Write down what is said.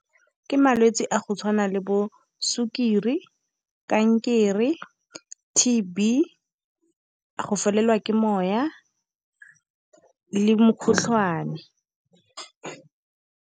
Ke malwetse a go tshwana le bo sukiri kankere, T_B go felelwa ke moya le mokgotlhwane.